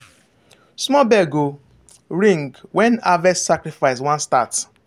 small bell go ring when harvest sacrifice wan start.